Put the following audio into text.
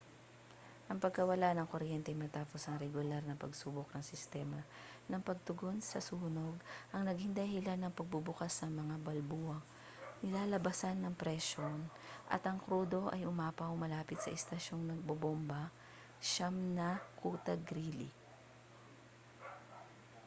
ang pagkawala ng kuryente matapos ang regular na pagsubok ng sistema ng pagtugon sa sunog ang naging dahilan ng pagbubukas ng mga balbulang nilalabasan ng presyon at ang krudo ay umapaw malapit sa istasyong nagbobomba 9 ng kuta greely